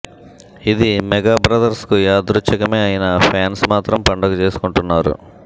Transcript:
ఇది mega brothers కు యాదృచ్చికమే అయిన ఫ్యాన్స్ మాత్రం పండగ చేసుకుంటున్నారు